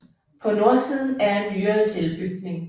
På nordsiden er en nyere tilbygning